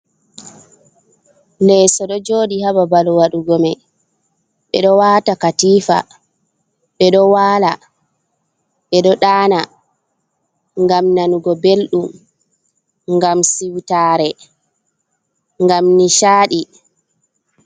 Leso ɗo jodi ha babal wadugo mei ɓe ɗo wata katifa ɓe ɗo wala ɓe ɗo ɗana ngam nanugo ɓeldum ngam siwtare ngam nisaaɗi.